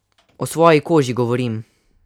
O svoji koži govorim.